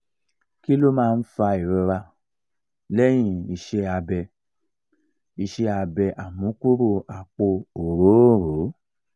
kí ló máa ń fa ìrora inu lehin ise abe ise abe amukuro apo orooro?